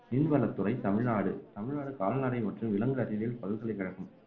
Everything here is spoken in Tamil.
மீன்வளத்துறை தமிழ்நாடு தமிழ்நாடு கால்நடை மற்றும் விலங்கு அறிவியல் பல்கலைக்கழகம்